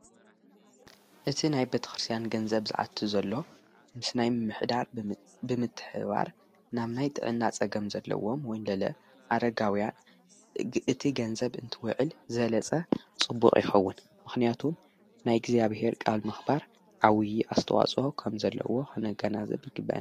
እቲ ናይ በተ ኽርስያን ገንዘብ ዝኣቱ ዘሎ ምስ ናይ ምሕዳር ብምትሕባር ናም ናይ ጥእናጸገም ዘለዎም ወንለለ ኣረጋውያን እቲ ገንዘብ እንትውዕል ዘለጸ ጽቡቕ ኢኸውን ምኽንያቱ ናይ እግዚኣብሔር ቃል ምኽባር ኣውዪ ኣስተዋፅ ኸም ዘለዎ ነጋናዘብ ይግበን::